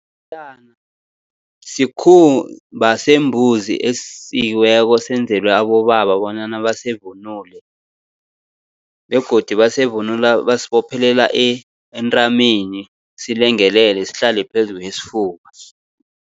Iporiyana sikhumba sembuzi esisikiweko senzelwe abobaba bonyana basivunule, begodu basivunula basibophelela entameni silengelele, sihlale phezu kwesifuba.